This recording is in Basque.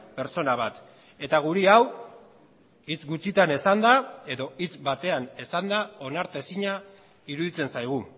pertsona bat eta guri hau hitz gutxitan esanda edo hitz batean esanda onartezina iruditzen zaigu